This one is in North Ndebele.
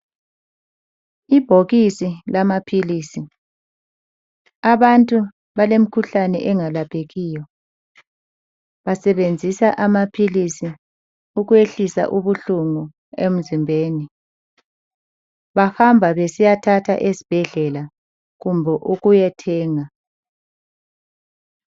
Ibhokisi lamaphilisi abantu balemkhuhlane engalaphekiyo basebenzisa amaphilisi ukuyehlusa ubuhlungu emzimbeni. Bahamba besiyathenga esibhedlela kumbe ukuyothenga.